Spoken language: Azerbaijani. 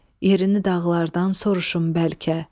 Yerini dağlardan soruşum bəlkə.